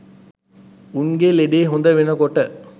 උන්ගෙ ලෙඩේ හොද වෙනකොට